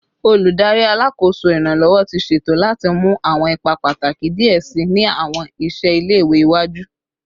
Oludari Alakoso Iranlọwọ ti ṣeto lati mu awọn ipa pataki diẹ sii ni awọn iṣẹ ile-iwe iwaju